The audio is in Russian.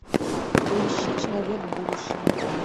поищи человек будущего